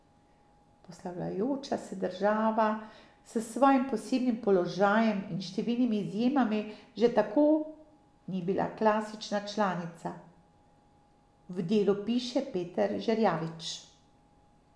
Poslavljajoča se država s svojim posebnim položajem in številnimi izjemami že tako ni bila klasična članica, v Delu piše Peter Žerjavič.